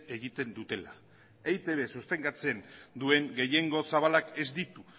egiten dutela eitb sustengatzen duen gehiengo zabalak ez ditu